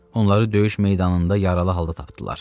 Onları döyüş meydanında yaralı halda tapdılar.